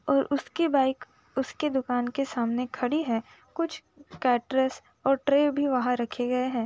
और उसकी बाइक उसके दुकान के सामने खड़ी है कुछ कैटरस और ट्रे भी वहाँ रखे गये हैं ।